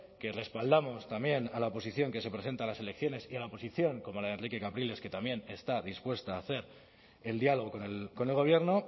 que respaldamos también a la oposición que se presenta a las elecciones y a la oposición como la de enrique capriles que también está dispuesta a hacer el diálogo con el gobierno